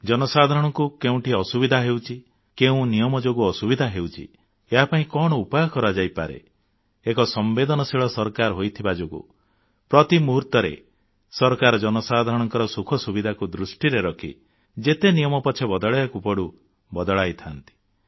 ଜନସାଧାରଣଙ୍କୁ କେଉଁଠି ଅସୁବିଧା ହେଉଛି କେଉଁ ନିୟମ ଯୋଗୁଁ ଅସୁବିଧା ହେଉଛି ଏହାପାଇଁ କଣ ଉପାୟ କରାଯାଇପାରେ ଏକ ସମ୍ବେଦନଶୀଳ ସରକାର ହୋଇଥିବା ଯୋଗୁଁ ପ୍ରତି ମୁହୂର୍ତ୍ତରେ ସରକାର ଜନସାଧାରଣଙ୍କ ସୁଖ ସୁବିଧାକୁ ଦୃଷ୍ଟିରେ ରଖି ଯେତେ ନିୟମ ପଛେ ବଦଳାଇବାକୁ ପଡ଼ୁ ବଦଳାଇଥାନ୍ତି